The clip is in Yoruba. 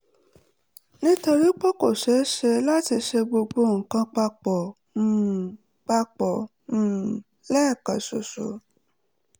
nítorí pé kò ṣeé ṣe láti ṣe gbogbo nǹkan pa pọ̀ um pa pọ̀ um lẹ́ẹ̀kan ṣoṣo